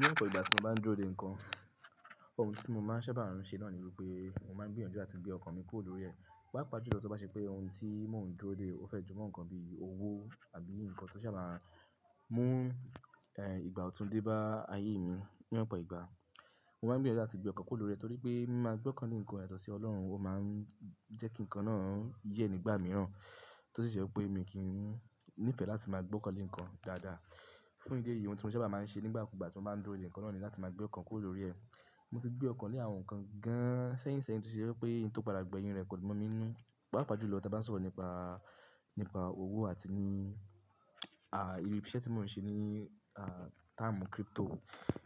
Ní ọ̀pọ̀ ìgbà tí mo bá ń dúró de nǹkan, ohun tí mo máa ń sábà nṣẹ́ náà ni wípé mo máa ń gbìyànjú láti gbé ọkàn mi kúrò lórí ẹ̀. Pàápàá jùlọ tí ó bá ṣe pé ohun tí mò ń dúró de ó fẹ́ jọ mọ nǹkan bí owó àbí nǹkan tó sá máa mú, ehn, ìgbà ọ̀tún dé bá ayé mi. Ní ọ̀pọ̀ ìgbà, mo máa ń gbìyànjú láti gbé ọkàn kúrò lórí ẹ torí pé máa gbọ́kànlé nǹkan, yàtò sí Ọlọ́run, ó máa ń jẹ́ kí nǹkan náà yẹ́ nígbà mìíràn tó sì ṣe wípé èmi kì í nífẹ̀ẹ́ láti máa gbọ́kànlé nǹkan dáadáa. Fún ìdí èyí, ohun tí mo sábà máa ń ṣe nígbà kú gbà tí mo bá ń dúró de nǹkan náà ni láti máa gbé ọkàn kúrò lórí ẹ. Mo ti gbọ́kànlé àwọn nǹkan gan-an sẹ́yìn sẹ́yìn tí ó ṣe wípé ohun tó padà gbẹ̀yìn rẹ̀ kò dùn mọ̀ mí ninú. Pàápàá jùlọ tí a bá ń sọ̀rọ̀ nípa, nípa owó àti ní, à, irú iṣẹ́ tí mò ń ṣe ní, à, táàmù crypto.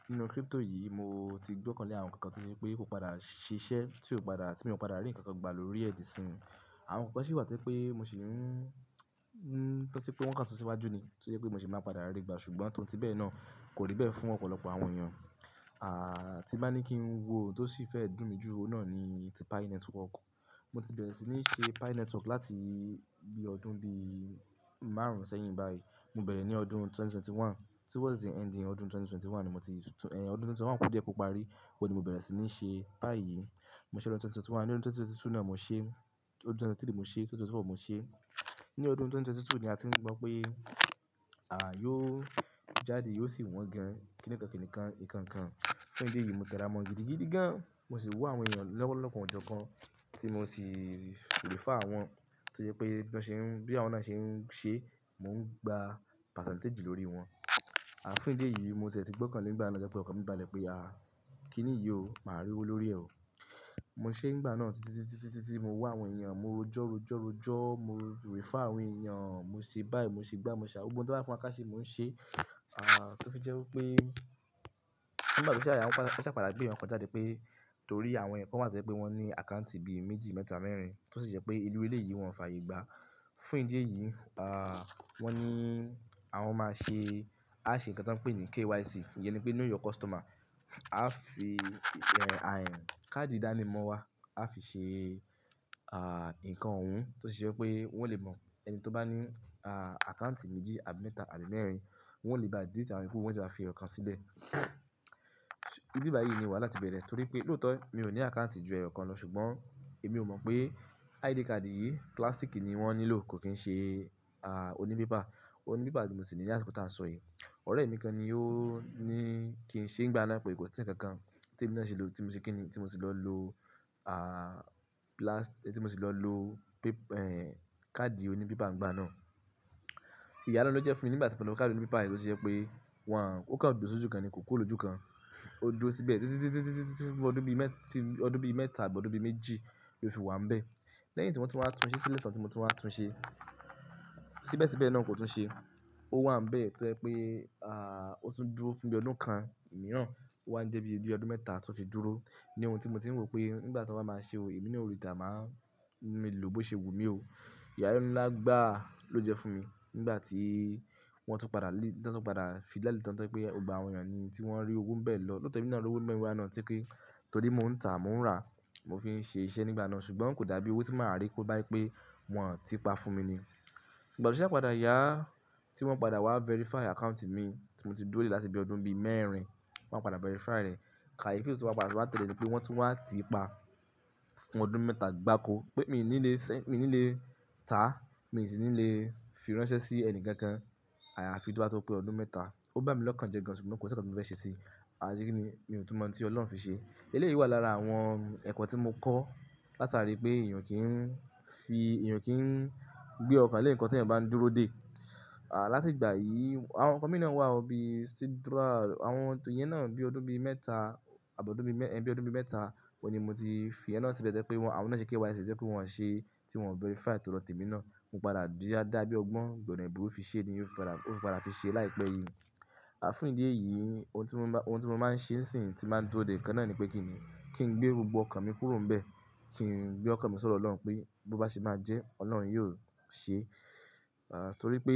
Nínú crypto yìí, mo ti gbọ́kànlé àwọn nǹkan tí ó ṣe wípé kò padà ṣiṣẹ́, tí ò padà, tí mi ò padà rí nǹkan kan gbà lórí ẹ̀ dísìn. Àwọn nǹkan sì wà tó jẹ pé mo ṣì ń, n, tí ó ṣe pé wọ́n Kan sun sí iwájú ni, tí ó jẹ́ pé mo ṣì máa padà rí gbà ṣùgbọ́n tòun tí bẹ́ẹ̀ náà kò rí bẹ́ẹ̀ fún ọ̀pọ̀lọpọ̀ àwọn èèyàn. À, tí bá ní kí n wo ohun tó sì fẹ́ dùn mí jù, ohun náà ni ti Pi Network. Mo ti bẹ̀rẹ̀ sí ní ṣe Pi Network láti bí ọdún bí márùn-ún sẹ́yìn báyìí. Mo bẹ̀rẹ̀ ní ọdún ẹgbẹ̀rún méjì ó lé mọ́kànlélógún. Towards the ending ọdún ẹgbẹ̀rún méjì ó lé mọ́kànlélógún ni mo ti, ehn, ọdún ẹgbẹ̀rún méjì ó lé mọ́kànlélógún kú díẹ̀ kó parí ni mo bẹ̀rẹ̀ sí ní ṣe Pi yìí. Mo ṣe ọdún ẹgbẹ̀rún méjì ó lé mọ́kànlélógún, ní ọdún ẹgbẹ̀rún méjì ó lé méjìlélógún ni mo ṣe, ọdún ẹgbẹ̀rún méjì ó lé ẹ́tàlélógún mo ṣe, ẹgbẹ̀rún méjì ó lé ẹ́rinlélógún mo ṣe. Nínú ọdún ẹgbẹ̀rún méjì ó lé méjìlélógún ni a ti gbọ́ pé, à, yóò jáde, yóò sì wọ́n gan. Kíni nǹkan kíni kan, ìkan nǹkan. Fún ìdí èyí, mo tẹ́ra mọ́n gidigidi gan. Mo sì wù àwọn èèyàn lọ́wọ́lọpọ̀ ọ̀jọ̀ọ̀kan tí mo sì refer àwọn, tí ó jẹ́ pé bí àwọn náà ṣe ń ṣe, mò ń gba percentage lórí wọn. À, fún ìdí èyí, mo ṣẹ̀ ti gbọ́kànlé nígbà náà tíwọn jẹ́ pé ọkàn mi bàlẹ̀ pé, à, kíni yìí o, màá rí owó lórí ẹ o. Mo ṣe nígbà náà títí, títí, títí, mo wù àwọn èèyàn, mo rojọ́, rojọ́, rojọ́, mo refer àwọn èèyàn, mo ṣe buy, mo ṣe gbá, mo ṣe àwọn ohun tí wọ́n bá fún ọ̀ ká ṣe mò ń ṣe, à, tí ó fi jẹ́ wípé nígbà tó ṣáà yá wọ́n sa padà gbé nǹkan kan jáde pé torí àwọn èèyàn kán wà to. Jé pé wọ́n ní àkáǹtì bí méjì, mẹ́ta, mẹ́rin, tó sì ṣe pé irú elẹ́yìi wọn ò fààyé gbàá. Fún ìdí èyí, à, wọ́n ní àwọn máa ṣe, a ṣe nǹkan tí wọ́n pè ní KYC. Iyẹ́n ni pé know your customer. Aa fi, ehn, àhén, káàdì ìdánimọ̀ wa, a fi ṣe, à, nǹkan ohun tó ṣe ṣe pé wọ́n lè mọ ẹni tó bá ní, à, àkáǹtì méjì àbí mẹ́ta àbí mẹ́rin, wọ́n ó lè ba dìlíìtì awọ́n yokú, wọ́n o fi ọkàn sílẹ̀. Ibi báyìí ni ìwà láti bẹ̀rẹ̀ torí pé lóòótọ́ mi ò ní àkáǹtì ju ẹ̀yọ̀kan lọ ṣùgbọ́n èmi ò mọ̀ pé ID card yìí, plastic yìí ni wọ́n nílò kò kín ṣe, à, oní pépà. Oní pépà tí mo sì ní ní àsìkò tí à nsọ yìí. Ọ̀rẹ́ mi kan ni ó ní kí n ṣe nígbà náà pé kò sí nǹkan kan tí èmi náà ṣe lò, tí mo ṣe kí ni, tí mo sì lọ lo, à, plastic tí mo sì lọ lo pép-- ehn, káàdì oní pépà ń gbà náà. Ìyálẹ́nu ló jẹ́ fún mi nígbà tí mo lo káàdì oní pépà yìí tó ṣe pé wọ́n, ó kan dúró sójú kan ni kò kúrò lòjú kan. O duró síbẹ̀ títí, títí, títí, títí, títí, títí fún bí ọdún bí mẹ́ta àbí ọdún bí méjì ló fi wà ń bẹ́ẹ̀. Lẹ́yìn tí wọ́n ti wá tún ṣi, sí lẹ́ẹ̀tán tí mo tún wá tún ṣe, síbẹ̀ síbẹ̀ náà kò tún ṣe. Ó wà ń bẹ́ẹ̀ tó jẹ́ pé, à, ó tún dúró fún bí ọdún kan mìíràn. Ó wá ń jẹ́ bí i dí ọdún mẹ́ta tó ti dúró ní ohun tí mo ti ń rò pé nígbà tó bá máa ṣe ò, èmi ni ò ri tà máa ń, mi lò ó bó ṣe wù mí o. Ìyálẹ́nu ńlá gbà ló jẹ́ fún mi nígbà tí wọ́n tún padà lé, wọ́n tún padà fi jade tán to jẹ́ pé gbógbo àwọn èèyàn ni tí wọ́n rí owó ń bẹ̀ lọ. Lóòótọ́ èmi náà ló ro owó nbẹ̀ nígbà náà torí pé torí mò ń tà, mò ń rà, mo fi ń ṣe iṣẹ́ nígbà náà ṣùgbọ́n kò dàbí owó tí màá rí tó bá pé wọn ti pa fún mi ni. Ìgbà tí ṣe padà yá, tí wọ́n padà wá verify àkáǹtì mi tí mo ti dúró láti bí ọdún bí mẹ́rin, wọ́n padà verify rẹ̀. Kàyefi ló tun wá padà tún wá tẹ̀lé ni pé wọ́n tún wá ti pa fún ọdún mẹ́ta gbákó pé mi ò ní lè sẹ́, mi ò ní lè tà, mi sì ní lè fi ránṣẹ́ sí ẹni kankan. À, àfi to bá tó pé ọdún mẹ́ta. Ó bá mi lọ́kàn jẹ gan ṣùgbọ́n kò sí nǹkan tí mo lè ṣe sí i. À, ṣe kíni mi ò tún mọ̀ pé tí Ọlọ́run fi ṣe. Ilé yìí wà lára àwọn ẹ̀kọ́ tí mo kọ́ látàrí pé èèyàn kì í ń fi, èèyàn kì í ń gbé ọkàn lé nǹkan tí ẹni bá ń dúró dè. À, láti ìgbà yìí, àwọn ňkan mï náà wà o bí Sidra, àwọn ohun tíyẹn náà bí ọdún bí mẹ́ta àbí ọdún bí mẹ́, ẹ́, bí ọdún bí mẹ́ta, ọ ni mo ti fi ẹ́n náà síbẹ̀ tẹ́ pé wọ́n, àwọn náà ṣe KYC, ṣe wípé wọ́n ṣe tí wọ́n verify tó lọ tèmi náà. Mo padà dá bí ọgbọ́n gbọ̀nà ẹ̀bùrú fi ṣe ni ó fi padà, ó fi padà fi ṣe láìpẹ́ yìí. À, fún ìdí èyí, ohun tí mo bá, ohun tí mo máa ń ṣe sìnsìn tí màá ń dúró de nǹkan náà ni pé kíni, kí n gbé gbogbo ọkàn mi kúrò níbẹ̀. Kí n gbé ọkàn mi sọdọ̀ Ọlọ́run pé bó bá ṣe máa jẹ́, Ọlọ́run yóò ṣe. À, torí pé,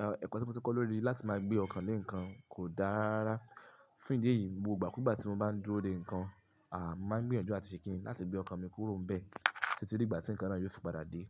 e, ẹ̀kọ́ tí mo ti kọ́ lórí láti máa gbé ọkàn lé nǹkan kò dára. Fún ìdí èyí, gbogbo igbàkígbà tí mo bá ń dúró de nǹkan, à, máa ń gbìyànjú àti ṣe kíni láti gbé ọkàn mi kúrò níbẹ̀ títí di ìgbà tí nǹkan náà yóò fi padà dé.